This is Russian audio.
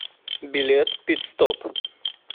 билет пит стоп